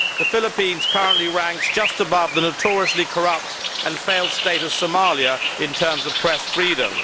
The Philippines currently ranks just above the notoriously corrupt and failed state of Somalia in terms of press freedom.